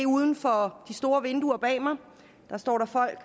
uden for de store vinduer bag ved mig står folk